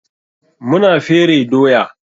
Mu na fere doya.